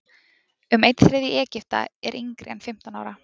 Um einn þriðji Egypta er yngri en fimmtán ára.